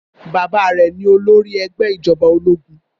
Bàbá rẹ̀ ni olórí ẹgbẹ́ ìjọba ológun.